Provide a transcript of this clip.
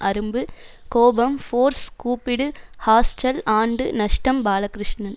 அரும்பு கோபம் ஃபோர்ஸ் கூப்பிடு ஹாஸ்டல் ஆண்டு நஷ்டம் பாலகிருஷ்ணன்